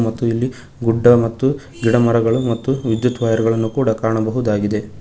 ಮತ್ತು ಇಲ್ಲಿ ಗುಡ್ಡ ಮತ್ತು ಗಿಡ ಮರಗಳು ಮತ್ತು ವಿದ್ಯುತ್ ವಯರ್ ಗಳನ್ನು ಕೂಡ ಕಾಣಬಹುದಾಗಿದೆ.